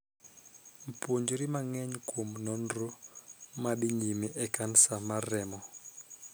Puonjri mang'eny kuom nonro ma dhii nyime e kansa mar remo.